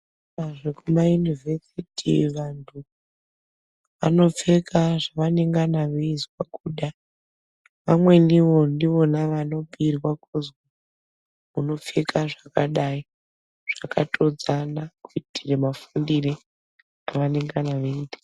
Zvekumayunivhesiti, vantu vanopfeka zvavanengana veizwa kuda. Vamweniwo ndivona vanobhuirwa kuzi, unopfeka zvakadai, zvakatodzana kuitire mafundire avanongana veiita.